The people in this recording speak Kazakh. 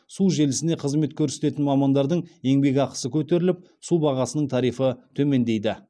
су желісіне қызмет көрсететін мамандардың еңбекақысы көтеріліп су бағасының тарифі төмендейді